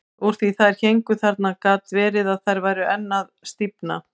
Úr því að þær héngu þarna gat verið að þær væru enn að stífna.